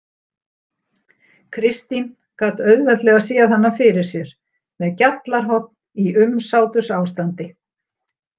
Kristín gat auðveldlega séð hana fyrir sér með gjallarhorn í umsátursástandi.